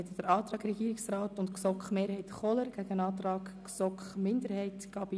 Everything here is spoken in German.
Hier liegt der Antrag Regierungsrat/GSoKMehrheit gegen den Antrag GSoK-Minderheit vor.